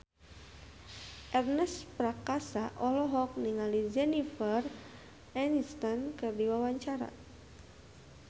Ernest Prakasa olohok ningali Jennifer Aniston keur diwawancara